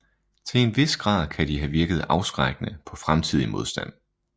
Til en vis grad kan de have virket afskrækkende på fremtidig modstand